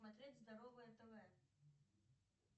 смотреть здоровое тв